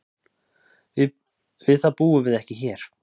Við það búum við ekki hér.